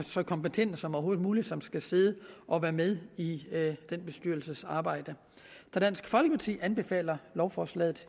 så kompetente som overhovedet muligt som skal sidde og være med i den bestyrelses arbejde så dansk folkeparti anbefaler lovforslaget